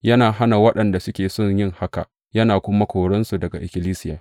Yana hana waɗanda suke so yin haka, yana ma korinsu daga ikkilisiya.